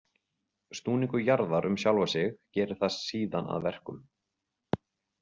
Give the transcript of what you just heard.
Snúningur jarðar um sjálfa sig gerir það síðan að verkum.